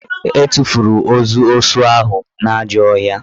E tufuru ozu osu ahụ n'ajọ ọhịa